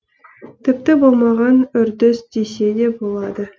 тіпті болмаған үрдіс десе де болады